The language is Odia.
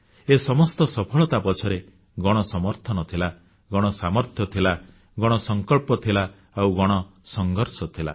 ଏ ସମସ୍ତ ସଫଳତା ପଛରେ ଗଣସମର୍ଥନ ଥିଲା ଗଣସାମର୍ଥ୍ୟ ଥିଲା ଗଣସଂକଳ୍ପ ଥିଲା ଆଉ ଗଣସଂଘର୍ଷ ଥିଲା